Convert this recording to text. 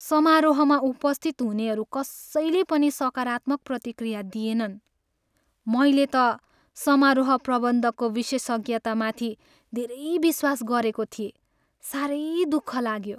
समारोहमा उपस्थित हुनेहरू कसैले पनि सकारात्मक प्रतिक्रिया दिएनन्। मैले त समारोह प्रबन्धकको विशेषज्ञतामाथि धेरै विश्वास गरेको थिएँ। साह्रै दुःख लाग्यो।